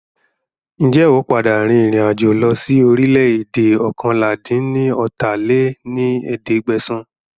Ń jẹ́ ó padà rìn ìrìn àjò lọ sí orílẹ̀ èdè oókànlá-dín-ní-ọ́ta lé ní ẹ̀ẹ́dẹ́gbẹ́sán